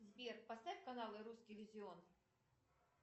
сбер поставь канал русский иллюзион